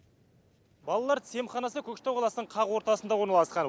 балалар тіс емханасы көкшетау қаласының қақ ортасында орналасқан